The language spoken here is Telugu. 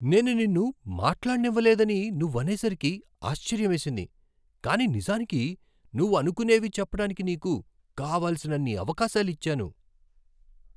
నేను నిన్ను మాట్లాడనివ్వలేదని నువ్వనేసరికి ఆశ్చర్యమేసింది, కానీ నిజానికి నువ్వు అనుకునేవి చెప్పటానికి నీకు కావలసినన్ని అవకాశాలిచ్చాను.